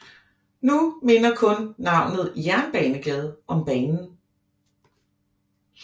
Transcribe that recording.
Nu minder kun navnet Jernbanegade om banen